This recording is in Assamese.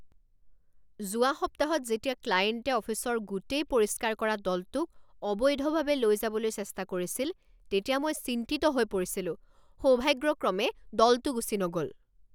যোৱা সপ্তাহত যেতিয়া ক্লায়েণ্টে অফিচৰ গোটেই পৰিষ্কাৰ কৰা দলটোক অবৈধভাৱে লৈ যাবলৈ চেষ্টা কৰিছিল তেতিয়া মই চিন্তিত হৈ পৰিছিলোঁ। সৌভাগ্যক্ৰমে দলটো গুচি নগ'ল।